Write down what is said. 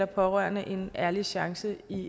pårørende en ærlig chance i